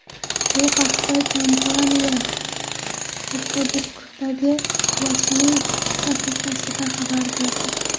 Bu haqda kompaniya Facebook’dagi rasmiy sahifasida xabar berdi .